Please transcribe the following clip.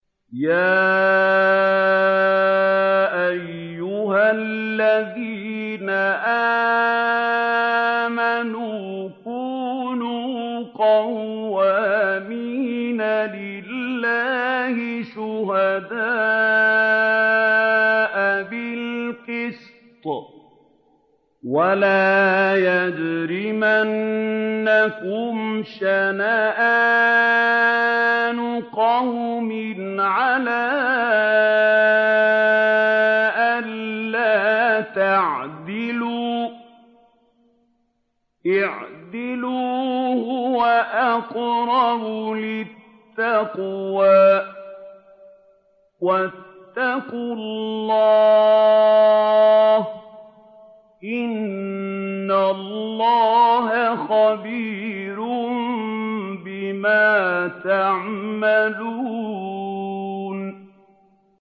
يَا أَيُّهَا الَّذِينَ آمَنُوا كُونُوا قَوَّامِينَ لِلَّهِ شُهَدَاءَ بِالْقِسْطِ ۖ وَلَا يَجْرِمَنَّكُمْ شَنَآنُ قَوْمٍ عَلَىٰ أَلَّا تَعْدِلُوا ۚ اعْدِلُوا هُوَ أَقْرَبُ لِلتَّقْوَىٰ ۖ وَاتَّقُوا اللَّهَ ۚ إِنَّ اللَّهَ خَبِيرٌ بِمَا تَعْمَلُونَ